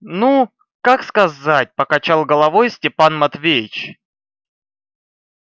ну как сказать покачал головой степан матвеевич